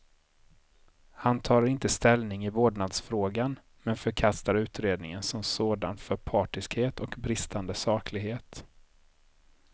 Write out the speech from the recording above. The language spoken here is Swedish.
Han tar inte ställning i vårdnadsfrågan, men förkastar utredningen som sådan för partiskhet och bristande saklighet.